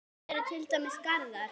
Þar eru til dæmis garðar.